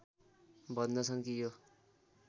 भन्दछन् कि यो